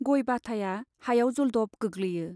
गय बाटाया हायाव जलद'ब गोग्लैयो।